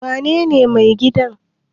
wanene mai gidan?